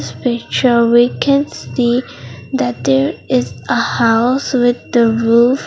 in this picture we can see that there is a house with the roof.